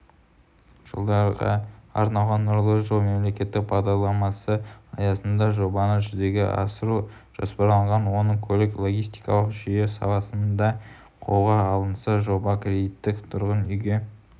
жылдарға арналған нұрлы жол мемлекеттік бағдарламасы аясында жобаны жүзеге асыру жоспарланған оның көлік-логистикалық жүйе саласында қолға алынса жоба кредиттік тұрғын үйге